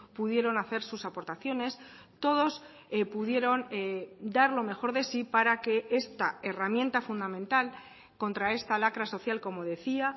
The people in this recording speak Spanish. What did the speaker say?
pudieron hacer sus aportaciones todos pudieron dar lo mejor de sí para que esta herramienta fundamental contra esta lacra social como decía